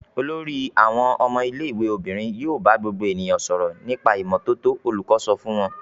"Olórí àwọn ọmọ ilé-ìwé obìnrin yóò bá gbogbo ènìyàn sọ̀rọ̀ nípa ìmọ́tótó!" Olùkọ́ sọ fún wọn.